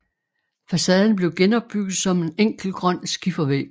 Facaden blev genopbygget som en enkel grøn skifervæg